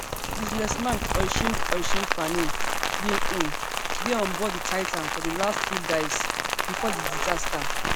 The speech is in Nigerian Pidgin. businessman oisin oisin fanning bin um dey onboard di titan for di last two dives before di disaster